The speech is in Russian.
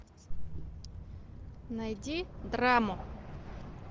найди драму